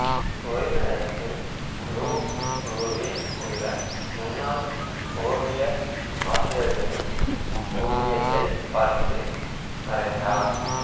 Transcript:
ஓய்வுநேரத்தில் லூவ்ருவில் உள்ள முன்னாள் ஓவிய ஆசிரியர்களின் ஓவியத்தைப் பார்த்து வரைந்தார்